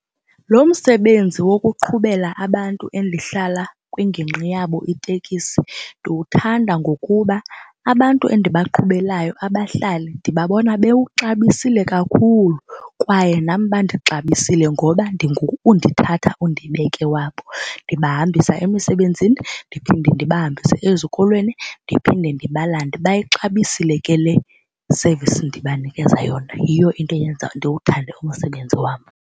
Lo msebenzi wokuqhubela abantu endihlala kwingingqi yabo itekisi ndiwuthanda ngokuba abantu endibaqhubelayo abahlali ndibabona bewuxabisile kakhulu kwaye nam bandixabisile ngoba ndingu-undithatha undibeke wabo. Ndibahambisa emisebenzini ndiphinde ndibahambise ezikolweni ndiphinde ndibalande. Bayixabisile ke le service ndibanikeza yona, yiyo into eyenza ndiwuthande umsebenzi wam.